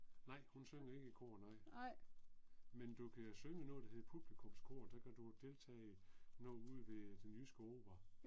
Nej hun synger ikke i kor nej. Men du kan synge i noget der hedder publikumskoret, der kan du deltage i noget ude ved Den Jyske Opera